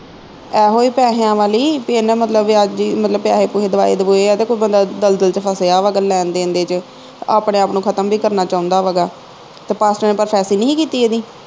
ਐਹੋ ਹੀ ਪੈਹਿਆ ਵਾਲੀ ਬਈ ਇਹਨੇ ਮਤਲਬ ਵਿਆਜੀ ਮਤਲਬ ਪੈਹੇ ਪੁਹੇ ਦਵਾਏ ਦੁਵੂਏ ਆ ਤੇ ਕੋਈ ਬੰਦਾ ਦਲਦਲ ਵਿਚ ਫਸਿਆ ਵਾ ਲੈਣ ਦੇਣ ਦੇ ਵਿਚ ਆਪਣੇ ਆਪ ਨੂੰ ਖਤਮ ਵੀ ਕਰਨ ਚਾਹੁੰਦਾ ਵਾ ਗਾ ਤੇ ਪਾਸਟਰ ਨੇ ਨੀ ਹੀ ਕੀਤੀ ਇਹਦੀ